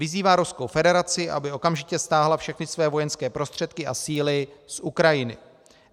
Vyzývá Ruskou federaci, aby okamžitě stáhla všechny své vojenské prostředky a síly z Ukrajiny.